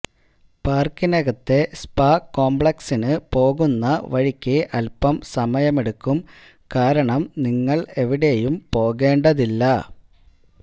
പാർക്കിനകത്തെ spa കോംപ്ലക്സിന് പോകുന്ന വഴിക്ക് അൽപം സമയമെടുക്കും കാരണം നിങ്ങൾ എവിടെയും പോകേണ്ടതില്ല